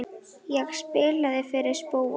Ég spilaði fyrir spóann.